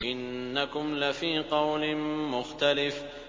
إِنَّكُمْ لَفِي قَوْلٍ مُّخْتَلِفٍ